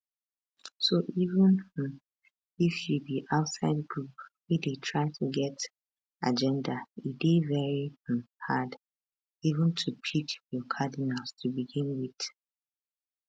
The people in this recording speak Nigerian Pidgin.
so even um if you be outside group wey dey try to get agenda e dey very um hard even to pick your cardinals to begin wit